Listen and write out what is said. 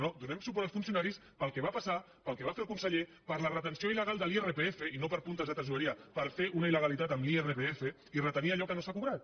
no no donem suport als funcionaris pel que va passar pel que va fer el conseller per la retenció il·legal de l’irpf i no per puntes de tresoreria per fer una il·legalitat amb l’irpf i retenir allò que no s’ha cobrat